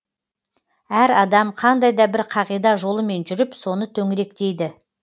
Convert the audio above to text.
әр адам қандай да бір қағида жолымен жүріп соны төңіректейді